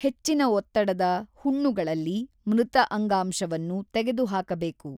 ಹೆಚ್ಚಿನ ಒತ್ತಡದ ಹುಣ್ಣುಗಳಲ್ಲಿ ಮೃತ ಅಂಗಾಂಶವನ್ನು ತೆಗೆದುಹಾಕಬೇಕು.